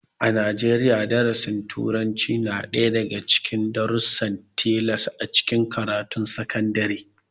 A Najeriya, darasin turanci na ɗaya daga cikin da darussan tilas a cikin karatun sakandare